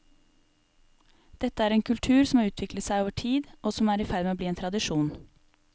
Dette er en kultur som har utviklet seg over tid, og som er i ferd med å bli en tradisjon.